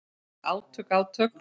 Átök, átök.